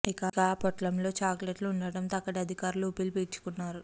ఇక ఆ పొట్లంలో చాక్లెట్లు ఉండడంతో అక్కడి అధికారులు ఊపిరి పీల్చుకున్నారు